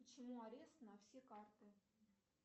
почему арест на все карты